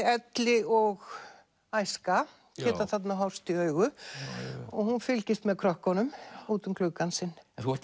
elli og æska geta þarna horfst í augu og hún fylgist með krökkunum út um gluggann sinn en þú ert